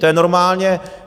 To je normálně...